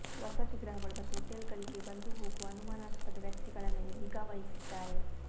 ವಸತಿಗೃಹಗಳು ಮತ್ತು ಹೋಟೆಲ್ಗಳಿಗೆ ಬಂದು ಹೋಗುವ ಅನುಮಾನಾಸ್ಪದ ವ್ಯಕ್ತಿಗಳ ಮೇಲೆ ನಿಗಾ ವಹಿಸಿದ್ದಾರೆ